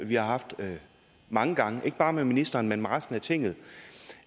vi har haft mange gange ikke bare med ministeren men også med resten af tinget